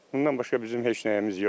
Bundan başqa bizim heç nəyimiz yoxdur.